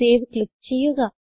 save click ചെയ്യുക